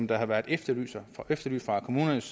der har været efterlyst efterlyst fra kommunernes